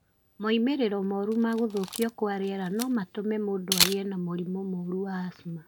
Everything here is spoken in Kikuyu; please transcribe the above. Moimĩrĩro moru ma gũthũkio kwa rĩera no matũme mũndũ agĩe na mũrimũ wa asthma.